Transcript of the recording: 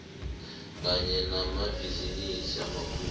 kanye namabhizinisi amakhulu